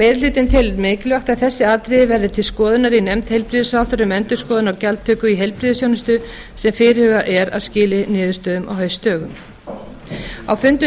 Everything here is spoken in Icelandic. meiri hlutinn telur mikilvægt að þessi atriði verði til skoðunar í nefnd heilbrigðisráðherra um endurskoðun á gjaldtöku í heilbrigðisþjónustu sem fyrirhugað er að skili niðurstöðum á haustdögum á fundum